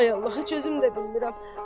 Ay Allaha, heç özüm də bilmirəm.